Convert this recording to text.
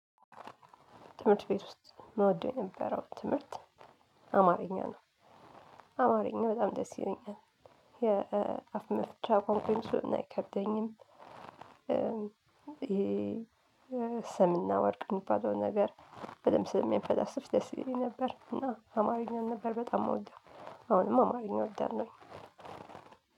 ትምህርት ቤት ውስጥ ምወደው የነበረው ትምህርት አማርኛ ነው። አማርኛ በጣም ደስ ይለኛል የአፍ መፍቻ ቋንቋዬም ስለሆነ አይከብደኝም። ሰምና ወርቅ የሚባለው ነገር በደንብ ስንፈላሰፍ ደስ ይለኝ ነበር እና አማርኛ ነበር በጣም ምወደው። አሁንም አማርኛ ወዳለሁኝ።